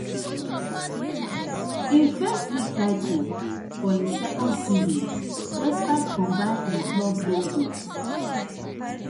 im first league title for im second season despite combining im club role wit